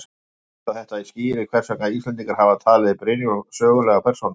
Varla verður sagt að þetta skýri hvers vegna Íslendingar hafa talið Brynjólf sögulega persónu.